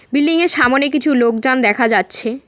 Building -এর সামোনে কিছু লোকজন দেখা যাচ্ছে।